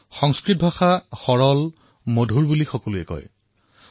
সংস্কৃতংভাষাং সৰলা ইতি সৰ্বে বদন্তি